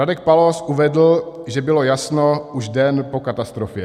Radek Pallós uvedl, že bylo jasno už den po katastrofě.